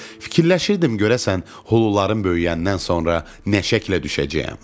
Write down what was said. Fikirləşirdim görəsən hulularım böyüyəndən sonra nə şəklə düşəcəyəm.